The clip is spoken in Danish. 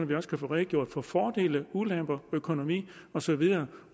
vi også kan få redegjort for fordele ulemper økonomi og så videre